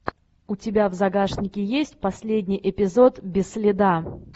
у тебя в загашнике есть последний эпизод без следа